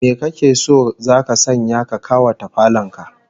Me kake so zaka sanya ya kawata falon ka?